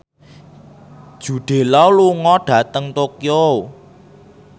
Jude Law lunga dhateng Tokyo